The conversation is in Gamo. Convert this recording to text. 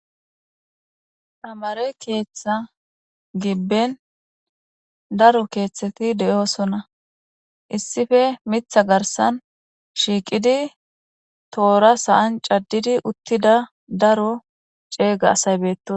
Amare keeththa gibben daro keeththeti de'oosona issife mitha garsan shiiqidi toora sa'an caddidi uttida daro ceega asaybeeto.